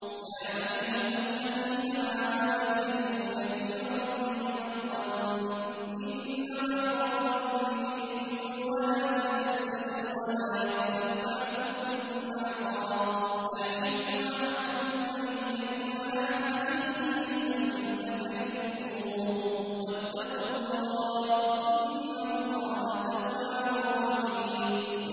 يَا أَيُّهَا الَّذِينَ آمَنُوا اجْتَنِبُوا كَثِيرًا مِّنَ الظَّنِّ إِنَّ بَعْضَ الظَّنِّ إِثْمٌ ۖ وَلَا تَجَسَّسُوا وَلَا يَغْتَب بَّعْضُكُم بَعْضًا ۚ أَيُحِبُّ أَحَدُكُمْ أَن يَأْكُلَ لَحْمَ أَخِيهِ مَيْتًا فَكَرِهْتُمُوهُ ۚ وَاتَّقُوا اللَّهَ ۚ إِنَّ اللَّهَ تَوَّابٌ رَّحِيمٌ